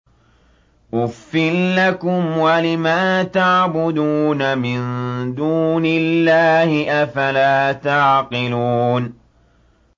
أُفٍّ لَّكُمْ وَلِمَا تَعْبُدُونَ مِن دُونِ اللَّهِ ۖ أَفَلَا تَعْقِلُونَ